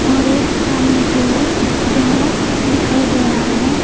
और एक सामने की ओर जंगला दिखाई दे रहा है।